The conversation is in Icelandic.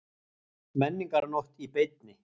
Menningarnótt í beinni